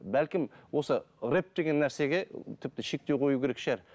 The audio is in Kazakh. бәлкім осы рэп деген нәрсеге тіпті шектеу қою керек шығар